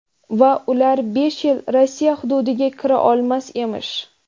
Va ular besh yil Rossiya hududiga kira olmas emish.